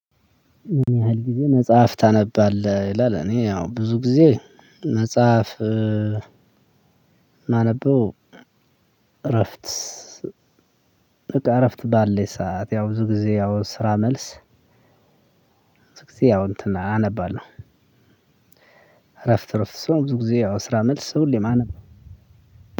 ምን ያህል ጊዜ መጽሐፍ ታነባለህ? ይላል እኔ ያው ብዙ ጊዜ መጽሐፍ ማነበው እረፍት በቃ እረፍት ባለኝ ሰዓት ያው ብዙ ጊዜ ያው ስራ መልስ ብዙ ጊዜ ያው እንትን አነባለሁ። እረፍት እረፍት ስሆን ብዙ ጊዜ ያው ከስራ መልስ ሁሌም አነባለሁ።